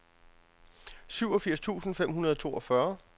syvogfirs tusind fem hundrede og toogfyrre